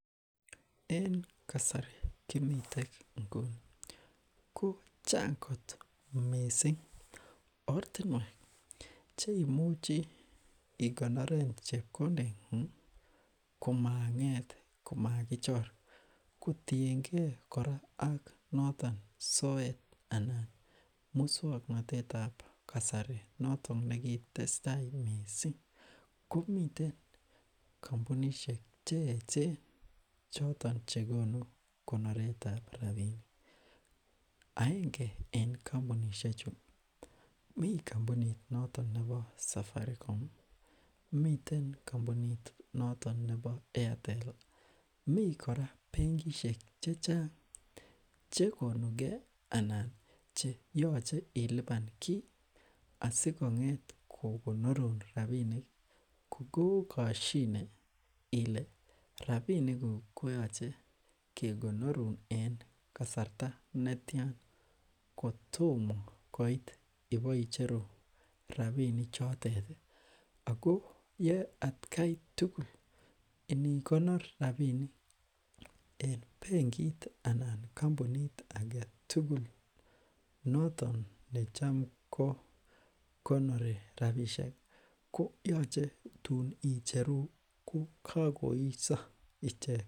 en kasari kimiten nguni ko chang kot mising ortinwek cheimuchi ikonoren chepkondengung komakinget komakichor kotiengee kora ak notok soet anan muswoknotettab kasari noton nekitestaii mising komiten kompunishek cheechen choton chekonu konoretab rapinik aenge en kompunishechu mi kompunit nebo safarikom miten kompunit noton nebo eatel mi kora benkishek chechang chekonukee anan cheyoche ilipan kii asikonget kokonorun rapinik kokokoshine ile rapinikuk koyoche kekonorun en kasarta netian kotomo koit iboicheru rapini choteti ako ye atakai tugul inikonor rapinik en benkit anan kompunit agetugul noton necham ko konori rapisheki koyoche tun icheru kokokoiyo ichek